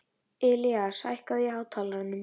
Ilías, hækkaðu í hátalaranum.